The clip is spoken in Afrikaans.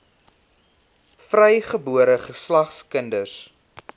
vrygebore geslag kinders